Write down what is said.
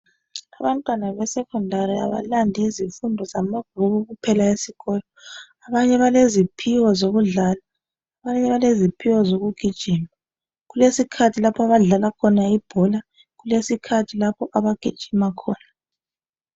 Abantwana abasekhondari abalandi Izifundo zamabhuku kuphela esikolo abanye baleziphiwo zokudlala abanye beleziphiwo zokugijima. Kulesikhathi lapha abadlala khona ibhola kulesikhathi lapho abagijima khona.